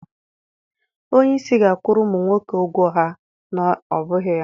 Onye isi ga akwụrụ ụmụ nwoke ugwo ha, ọ na ọbụghị ya.